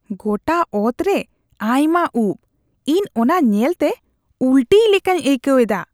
ᱜᱚᱴᱟ ᱚᱛ ᱨᱮ ᱟᱭᱢᱟ ᱩᱯᱽ ᱾ ᱤᱧ ᱚᱱᱟ ᱧᱮᱞᱛᱮ ᱩᱞᱴᱤᱭ ᱞᱮᱠᱟᱧ ᱟᱹᱭᱠᱟᱹᱣᱮᱫᱟ ᱾